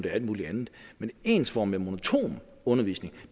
alt mulig andet men ensformig og monoton undervisning